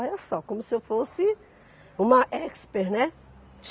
Olha só, como se eu fosse uma expert, né?